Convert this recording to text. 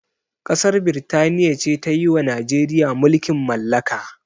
Ƙasar birtaniya ce tayiwa najeriya mulkin mallaka